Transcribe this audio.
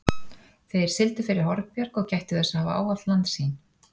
Þeir sigldu fyrir Hornbjarg og gættu þess að hafa ávallt landsýn.